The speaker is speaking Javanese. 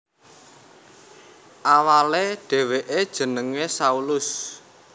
Awalé dhèwèké jenengé Saulus